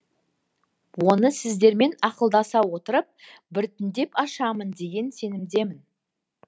оны сіздермен ақылдаса отырып біртіндеп ашамын деген сенімдемін